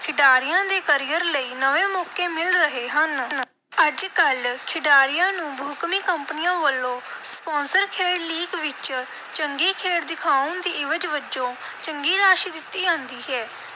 ਖਿਡਾਰੀਆਂ ਦੇ career ਲਈ ਨਵੇਂ ਮੌਕੇ ਮਿਲ ਰਹੇ ਹਨ। ਅੱਜ-ਕੱਲ੍ਹ ਖਿਡਾਰੀਆਂ ਨੂੰ ਬਹੁਕੌਮੀ ਕੰਪਨੀਆਂ ਵੱਲੋਂ sponsor ਖੇਡ league ਵਿਚ ਚੰਗੀ ਖੇਡ ਦਿਖਾਉਣ ਦੀ ਇਵਜ਼ ਵਜੋਂ ਚੰਗੀ ਰਾਸ਼ੀ ਦਿੱਤੀ ਜਾਂਦੀ ਹੈ,